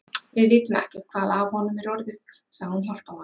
Við vitum ekkert hvað af honum er orðið, sagði hún hjálparvana.